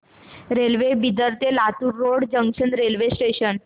railway Bidar ते Latur road junction railway station